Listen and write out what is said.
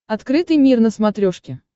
открытый мир на смотрешке